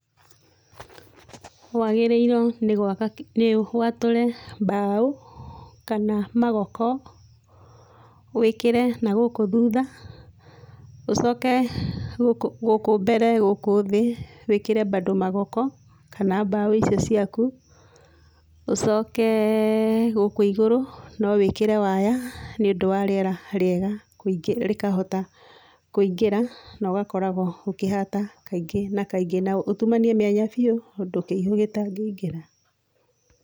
Wagĩrĩirwo nĩ gwaka, nĩ watũre mbaũ kana magoko, wĩkĩre nagũkũ thutha, ũcoke gũkũ gũkũ mbere gũkũ thĩ wĩkĩre bado magoko kana mbaũ icio ciaku, ũcoke gũkũ igũrũ no wĩkĩre waya nĩũndũ wa rĩera rĩega kũingĩra, rĩkahota kũingĩra, no gakoragwo ũkĩhata kaingĩ na kaingĩ, na ũtumanie mĩanya biũ ũndũ kĩihũ gĩtangĩingĩra.